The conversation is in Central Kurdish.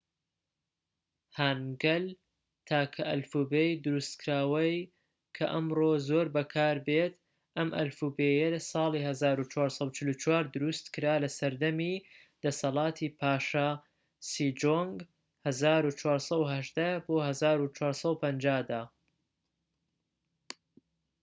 هانگەل تاکە ئەلفوبێی دروستکراوە کە ئەمڕۆ زۆر بەکاربێت. ئەم ئەلفوبێیە ساڵی ١٤٤٤ دروستکرا لەسەردەمی دەسەڵاتی پاشا سیجۆنگ ١٤١٨-١٤٥٠ دا